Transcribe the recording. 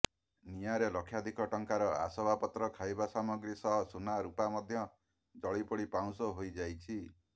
ନିଆଁରେ ଲକ୍ଷାଧିକ ଟଙ୍କାର ଆସବାବପତ୍ର ଖାଇବା ସାମଗ୍ରୀ ସହ ସୁନା ରୁପା ମଧ୍ୟ ଜଳି ପୋଡି ପାଉଁଶ ହୋଇଯାଇଛି